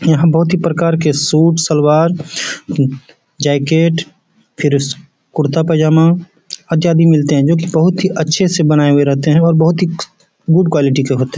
यहाँ बहुत ही प्रकार के सूट सलवार जैकेट फिर इस कुर्ता पैज़ामा अच्छा भी मिलते हैं जो कि बहुत ही अच्छे से बनाए हुए रहते हैं और बहुत ही गुड क़्वालिटी के होते हैं।